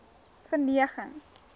verneging